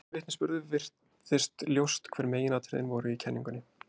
Af þessum vitnisburði virðist ljóst hver meginatriðin voru í kenningunni.